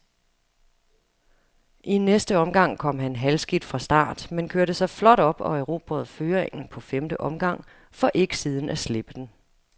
I næste omgang kom han halvskidt fra start, men kørte sig flot op og erobrede føringen på femte omgang, for ikke siden at slippe den.